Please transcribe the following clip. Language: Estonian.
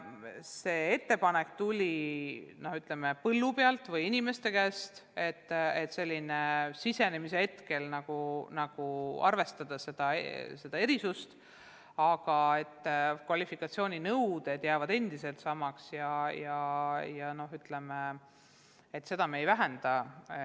See ettepanek, et programmi algul seda erisust arvestada, tuli inimeste endi käest, aga kvalifikatsiooninõuded jäävad endiselt samaks ja neid me ei vähenda.